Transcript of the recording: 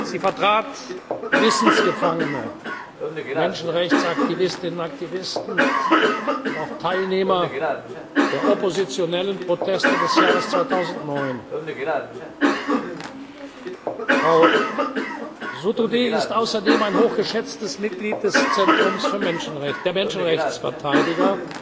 Sie vertrat Gewissensgefangene, Menschenrechtsaktivistinnen und aktivisten und auch Teilnehmer der oppositionellen Proteste des Jahres 2009. Frau Sotoudeh ist außerdem ein hoch geschätztes Mitglied des Zentrums der Menschenrechtsverteidiger